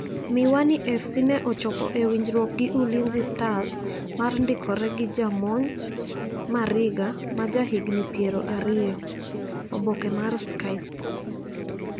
Miwani FC ne ochopo e winjruok gi Ulinzi stars mar ndikore gi jamonj Mariga ma ja higni pier ariyo( oboke mar sky sports).